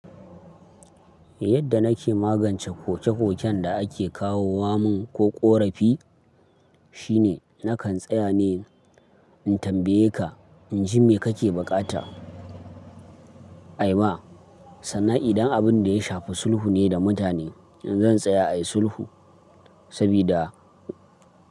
Yadda nake magance koke-koken da ake kawo wa mun ko ƙorafi shine nakan tsaya ne in tambaye ka, in ji me kake bukata? Aima sannan idan abin da ya shafi sulhu ne da mutane, to zan tsaya ayi sulhu sabida.